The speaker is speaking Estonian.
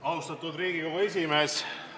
Austatud Riigikogu esimees!